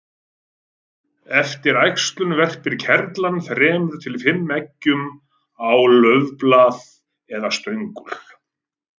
Eftir æxlun verpir kerlan þremur til fimm eggjum á laufblað eða stöngul.